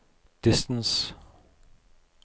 distance